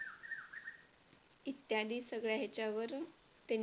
इत्यादी सगळ्या ह्याच्यावर त्यांनी